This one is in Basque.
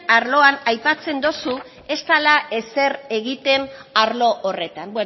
arloan aipatzen dozu ez dela ezer egiten arlo horretan